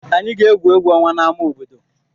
Anyị ga-egwu egwu ọnwa n'ámá obodo.